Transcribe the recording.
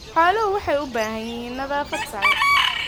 Xooluhu waxay u baahan yihiin nadaafad sare.